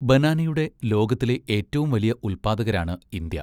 ബനാനയുടെ ലോകത്തിലെ ഏറ്റവും വലിയ ഉത്പാദകരാണ് ഇന്ത്യ.